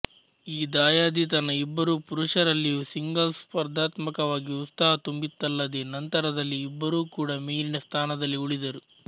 ಈ ದಾಯಾದಿತನ ಇಬ್ಬರೂ ಪುರುಷರಲ್ಲಿಯೂ ಸಿಂಗಲ್ಸ್ ಸ್ಪರ್ಧಾತ್ಮಕವಾಗಿ ಉತ್ಸಾಹ ತುಂಬಿತ್ತಲ್ಲದೇ ನಂತರದಲ್ಲಿ ಇಬ್ಬರೂ ಕೂಡ ಮೇಲಿನ ಸ್ಥಾನದಲ್ಲಿ ಉಳಿದರು